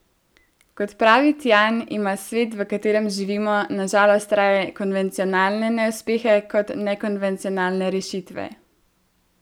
Kot pravi Tjan, ima svet, v katerem živimo, na žalost raje konvencionalne neuspehe kot nekonvencionalne rešitve.